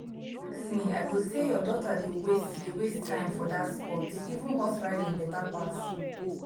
if you ask me i go say your daughter dey waste dey waste time for dat sport even horse riding beta pass